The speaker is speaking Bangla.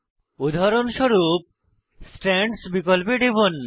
উদাহরণস্বরূপ স্ট্রান্ডস বিকল্পে টিপুন